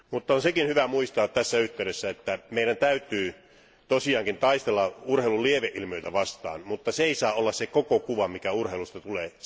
On hyvä muistaa tässä yhteydessä, että meidän täytyy tosiaankin taistella urheilun lieveilmiöitä vastaan, mutta se ei saa olla se koko kuva, joka urheilusta tulee.